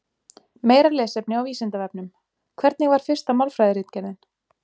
Meira lesefni á Vísindavefnum: Hvernig var fyrsta málfræðiritgerðin?